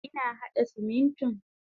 Ina hada Simintin.